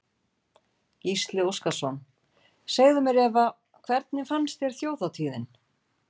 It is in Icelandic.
Gísli Óskarsson: Segðu mér Eva, hvernig fannst þér Þjóðhátíðin?